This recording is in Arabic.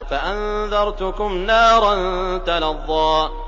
فَأَنذَرْتُكُمْ نَارًا تَلَظَّىٰ